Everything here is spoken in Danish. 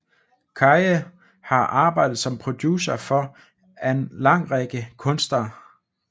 Kaye har arbejdet som producer for an lang række kunstnere